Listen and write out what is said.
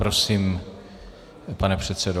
Prosím, pane předsedo.